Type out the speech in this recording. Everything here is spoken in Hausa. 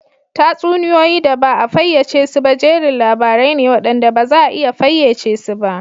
Tatsuniyoyi da ba a fayyace su ba jerin labarai ne waɗanda ba za a iya fayyace su ba